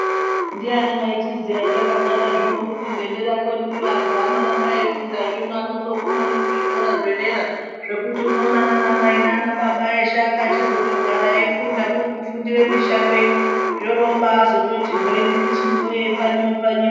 Ndiyani waichiziya etakagara zvino kuti ngedera kweduyo anhu anoramba eifunda zvino anoguma kuzvikora zvedera zvekuti unoona nana mai nanababa eshe akachizotagara eifunda kurikufundire mishando ino zvoorobazoti hwe nemichiniyo yechipfanywa-pfanywa.